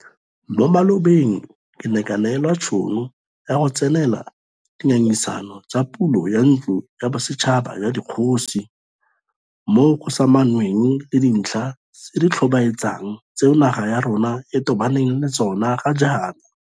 Mo malobeng ke ne ka neelwa tšhono ya go tsenela di ngangisano tsa pulo ya Ntlo ya Bosetšhaba ya Dikgosi, moo go samaganweng le dintlha tse di tlhobaetsang tseo naga ya rona e tobaneng le tsona ga jaana.